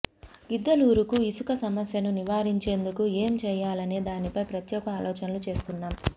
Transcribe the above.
గిద్దలూరుకు ఇసుక సమస్యను నివారించేందుకు ఏంచేయాలనే దానిపై ప్రత్యేక ఆలోచనలు చేస్తున్నాం